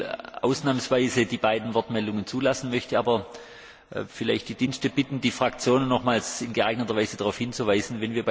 Ich werde ausnahmsweise die beiden Wortmeldungen zulassen, möchte aber vielleicht die Dienste bitten, die Fraktionen nochmals in geeigneter Weise darauf hinzuweisen.